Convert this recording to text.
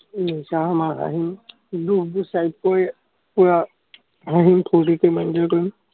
উম যাম আৰু আহিম। পুৰা হাঁহিম, ফুৰ্তি কৰিম, আৰু enjoy কৰিম।